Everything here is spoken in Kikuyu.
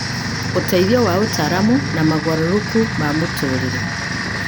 ũteithio wa ataaramu, na mogarũrũku ma mũtũũrĩre.